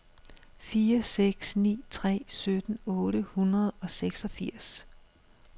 fire seks ni tre sytten otte hundrede og seksogfirs